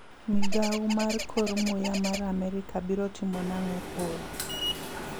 Migao mar kor muya mar Amerka biro timo nang'o koro?